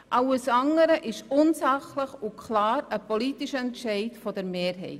Alles andere ist unsachlich und klar ein politischer Entscheid der Mehrheit.